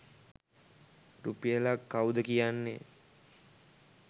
රුපියලක් කවුද කියන්නේ?